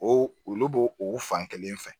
O olu b'o o fankelen fɛ